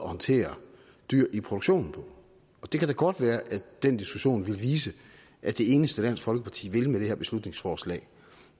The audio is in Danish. håndtere dyr i produktionen på og det kan da godt være at den diskussion vil vise at det eneste dansk folkeparti vil med det her beslutningsforslag